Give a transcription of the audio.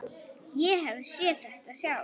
Ég hef séð þetta sjálf.